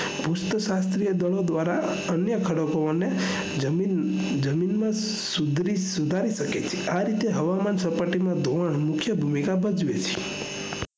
મુખ્ય શાસ્ત્રીય દળો દ્વારા અન્ય ખડકો ને જમીનમાં સુધારી શકે છે આરીતે હવામાન સપાટીમાં ધોવાણ મુખ્ય ભૂમિકા ભજવે છે